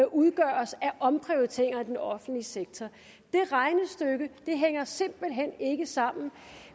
udgøres af omprioriteringer i den offentlige sektor det regnestykke hænger simpelt hen ikke sammen